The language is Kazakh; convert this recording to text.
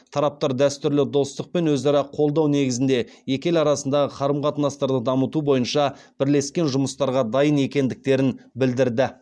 тараптар дәстүрлі достық пен өзара қолдау негізінде екі ел арасындағы қарым қатынастарды дамыту бойынша бірлескен жұмыстарға дайын екендіктерін білдірді